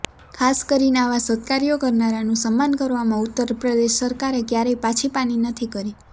ખાસ કરીને આવાં સત્કાર્યો કરનારાનું સન્માન કરવામાં ઉત્તર પ્રદેશ સરકારે ક્યારેય પાછી પાની નથી કરી